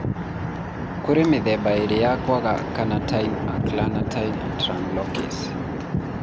Kũrĩ mĩthemba ĩĩrĩ ya kwaga carnitine acylcarnitine translocase.